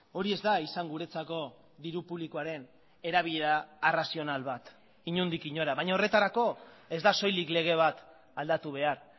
hori ez da izan guretzako diru publikoaren erabilera arrazional bat inondik inora baina horretarako ez da soilik lege bat aldatu behar